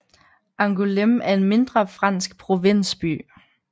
Angoulême er en mindre fransk provinsby